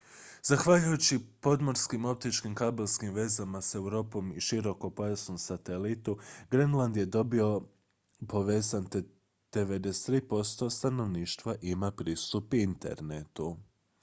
zahvaljujući podmorskim optičkim kabelskim vezama s europom i širokopojasnom satelitu grenland je dobro povezan te 93 % stanovništva ima pristup internetu